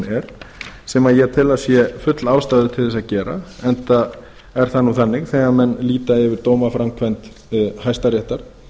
er sem ég tel að sé full ástæða til að gera enda er það nú þannig þegar menn líta yfir dómaframkvæmd hæstaréttar